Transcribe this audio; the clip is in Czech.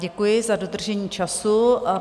Děkuji za dodržení času.